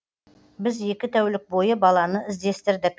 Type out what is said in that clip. біз екі тәулік бойы баланы іздестірдік